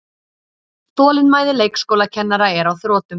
Þolinmæði leikskólakennara er á þrotum